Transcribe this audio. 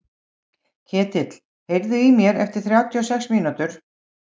Ketill, heyrðu í mér eftir þrjátíu og sex mínútur.